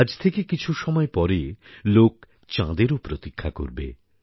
আজ থেকে কিছু সময় পরে লোক চাঁদেরও প্রতীক্ষা করবে